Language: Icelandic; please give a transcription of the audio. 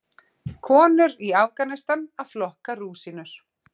Konur í Afganistan að flokka rúsínur.